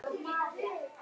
Takk, elsku amma.